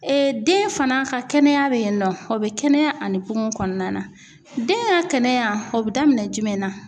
Ee den fana ka kɛnɛya bɛ yen nɔ o bɛ kɛnɛya ani kungo kɔnɔna na den ka kɛnɛya o bi daminɛ jumɛn na?